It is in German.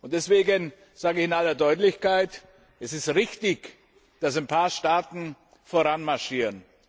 Deswegen sage ich in aller Deutlichkeit Es ist richtig, dass ein paar Staaten voranmarschieren.